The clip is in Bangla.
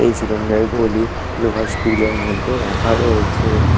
এই সিলিন্ডার -গুলি লোহার স্টুল -এর মধ্যে রাখা রয়েছে।